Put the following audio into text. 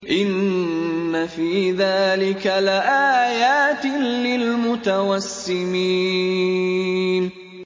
إِنَّ فِي ذَٰلِكَ لَآيَاتٍ لِّلْمُتَوَسِّمِينَ